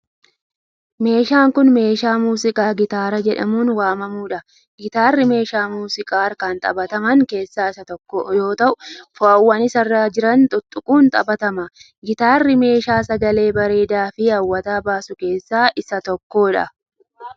Meeshaan kun, meeshaa muuziqaa gitaara jedhamuun waamamuu dha. Gitaarri meeshaa muuziqaa harkaan taphataman keessaa tokko yoo ta'u, fo'aawwan isa irra jiran tuttuquun taphatama. Gitaarri meeshaa sagalee bareedaa fi hawwataa baasu keessaa isa tokko dha.